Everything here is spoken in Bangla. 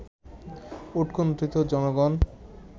উৎকন্ঠিত জনগণ